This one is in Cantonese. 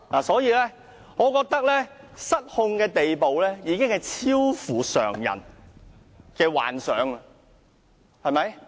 所以，我覺得他失控的程度，已超乎常人的想象，對嗎？